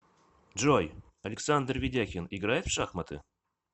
джой александр ведяхин играет в шахматы